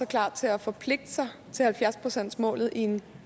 klar til at forpligte sig til halvfjerds pcts målet i en